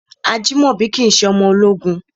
Ajimobi kìí ṣe ọmọ ológun.